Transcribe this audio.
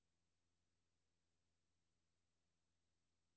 Overfør indkomne e-mail til indbakken.